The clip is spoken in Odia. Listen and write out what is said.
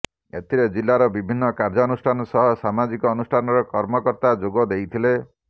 ଏଥିରେ ଜିଲ୍ଲାର ବିଭିନ୍ନ ଶିକ୍ଷାନୁଷ୍ଠାନ ସହ ସାମାଜିକ ଅନୁଷ୍ଠାନର କର୍ମକର୍ତ୍ତା ଯୋଗ ଦେଇଥିଲେ